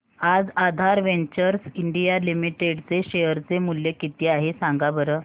आज Aadhaar Ventures India Limited चे share चे मूल्य किती आहे सांगा बरं